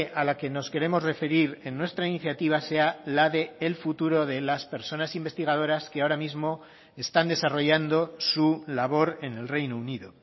a la que nos queremos referir en nuestra iniciativa sea la del futuro de las personas investigadoras que ahora mismo están desarrollando su labor en el reino unido